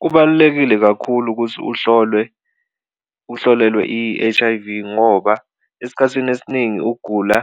Kubalulekile kakhulu ukuthi uhlolwe uhlolelwe i-H_I_V ngoba esikhathini esiningi ukugula